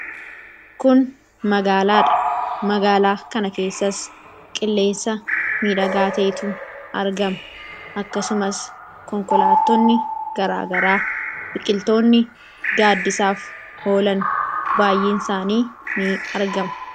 Kun magaalaadha. magaalaa kana keessas qilleensa miidhagaa ta'etu argama. Akkasumas konkolaattonni garagaraa, biqiltoonni gaaddisaaf oolan baayyee isaanii ni argamu.